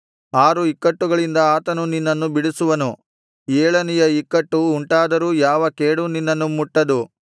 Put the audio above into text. ಆರು ಇಕ್ಕಟ್ಟುಗಳಿಂದ ಆತನು ನಿನ್ನನ್ನು ಬಿಡಿಸುವನು ಏಳನೆಯ ಇಕ್ಕಟ್ಟು ಉಂಟಾದರೂ ಯಾವ ಕೇಡೂ ನಿನ್ನನ್ನು ಮುಟ್ಟದು